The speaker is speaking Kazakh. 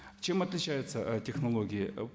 чем отличаются ы технологии